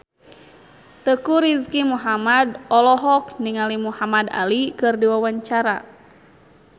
Teuku Rizky Muhammad olohok ningali Muhamad Ali keur diwawancara